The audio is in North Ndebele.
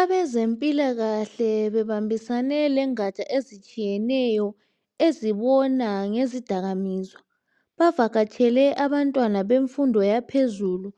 Abezempilakahle bebambisene lengaja ezitshiyeneyo ,ezibona ngezidakamizwa. Bavakatshele abantwana bemfundo yaphezulu,